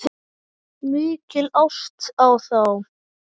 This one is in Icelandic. Mikil ást á þá.